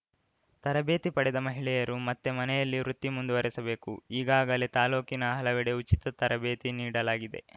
ತರಬೇತಿ ಪಡೆದ ಮಹಿಳೆಯರು ಮತ್ತೆ ಮನೆಯಲ್ಲಿ ವೃತ್ತಿ ಮುಂದುವರೆಸಬೇಕು ಈಗಾಗಲೇ ತಾಲೂಕಿನ ಹಲವೆಡೆ ಉಚಿತ ತರಬೇತಿ ನೀಡಲಾಗಿದೆ